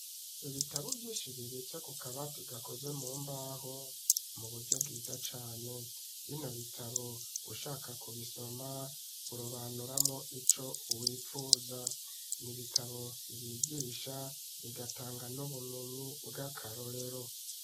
Ibitabo vyinshi bibitse kukabati gakoze mumbaho mu buryo bwiza cane bino bitabo ushaka kubisoma urobanuramwo ico wipfuza nibitabo vyigisha bigatanga n'ubumenyi bw'akarorero.